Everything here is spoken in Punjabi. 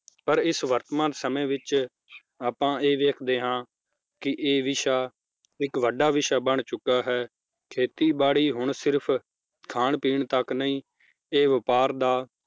ਪਰ ਇਸ ਵਰਤਮਾਨ ਸਮੇ ਵਿਚ ਆਪਾਂ ਇਹ ਵੇਖਦੇ ਹਾਂ ਕੀ ਇਹ ਵਿਸ਼ਾ ਇੱਕ ਵੱਡਾ ਵਿਸ਼ਾ ਬਣ ਚੁਕਾ ਹੈ ਖੇਤੀ ਬੜੀ ਹੁਣ ਸਿਰਫ ਖਾਣ ਪੀਣ ਤੱਕ ਨਹੀਂ ਇਹ ਵਪਾਰ ਦਾ,